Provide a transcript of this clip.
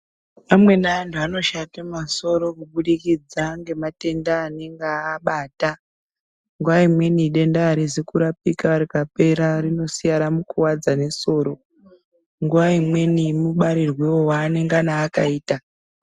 Amweni anhu ano shate masoro kubudikidza ngematenda anenge aabata nguwa imweni denda arizi kurapika rinosiye ramukuwadza nesoro nguwa imweni mubarirwewo waanenge akaita.